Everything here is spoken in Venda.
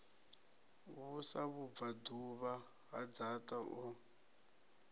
vhusa vhubvaḓuvha ha dzaṱa o